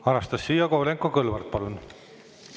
Anastassia Kovalenko-Kõlvart, palun!